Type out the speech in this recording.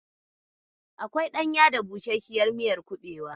Akwai ɗanya da busasshiyar miyar kuɓewa.